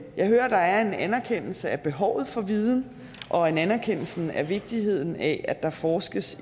jeg hører at der er en anerkendelse af behovet for viden og en anerkendelse af vigtigheden af at der forskes